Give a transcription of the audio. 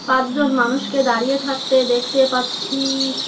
পাঁচজন মানুষকে দাঁড়িয়ে থাকতে দেখতে পাচ্ছি।